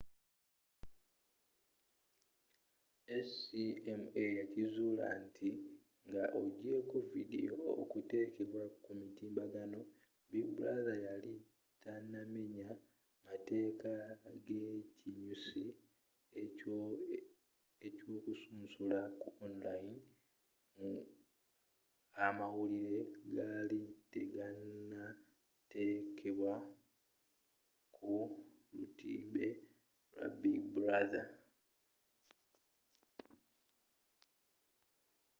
acma yakizuula nti nga ojeko vidiyo okutekebwa ku mutimbagano big brother yali tenamenya mateeka g'ekinyusi ky'okusunsula ku online nga amawulire gaali teganatelekebwa ku lutimbe lwa big brother